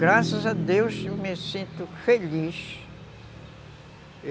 Graças a Deus eu me sinto feliz.